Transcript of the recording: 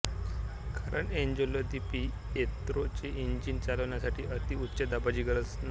कारण Angelo di Pietro चे engine चालण्यासाठी अति उच्च दाबाची गरज नाहीये